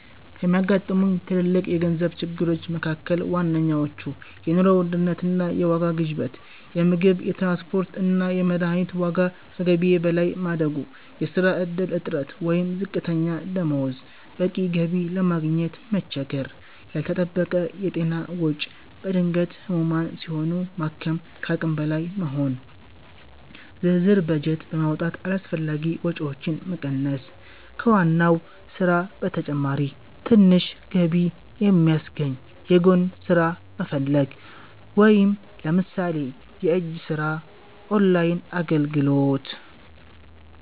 ከሚያጋጥሙኝ ትልልቅ የገንዘብ ችግሮች መካ�ከል ዋናዎቹ፦ የኑሮ ውድነት እና የዋጋ ግሽበት - የምግብ፣ የትራንስፖርት እና የመድኃኒት ዋጋ ከገቢዬ በላይ ማደጉ። የሥራ ዕድል እጥረት ወይም ዝቅተኛ ደሞዝ - በቂ ገቢ ለማግኘት መቸገር። ያልተጠበቀ የጤና ወጪ - በድንገት ህሙማን ሲሆኑ ማከም ከአቅም በላይ መሆኑ። ዝርዝር በጀት በማውጣት አላስፈላጊ ወጪዎችን መቀነስ። ከዋና ሥራ በተጨማሪ ትንሽ ገቢ የሚያስገኝ የጎን ሥራ መፈለግ (ለምሳሌ የእጅ ሥራ፣ ኦንላይን አገልግሎት)።